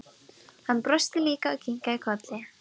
Hann brosti líka og kinkaði kolli.